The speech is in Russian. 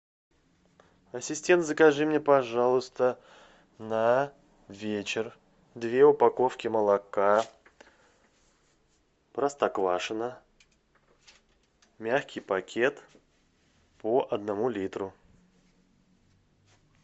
ассистент закажи мне пожалуйста на вечер две упаковки молока простоквашино мягкий пакет по одному литру